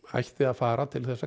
ætti að fara til að